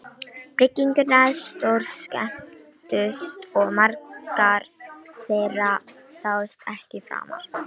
Bryggjurnar stórskemmdust og margar þeirra sáust ekki framar.